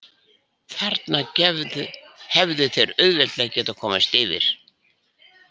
Þarna hefðu þeir auðveldlega getað komist yfir.